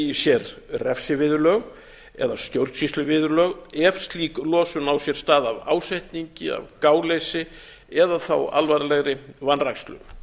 í sér refsiviðurlög eða stjórnsýsluviðurlög ef slík losun á sér stað af ásetningi af gáleysi eða þá alvarlegri vanrækslu